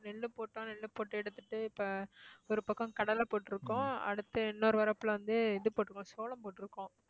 நெல்லு போட்டா நெல்லு போட்டு எடுத்துட்டு இப்ப ஒரு பக்கம் கடலை போட்டிருக்கோம் அடுத்து இன்னொரு வரப்புல வந்து இது போட்டிருக்கோம் சோளம் போட்டிருக்கோம்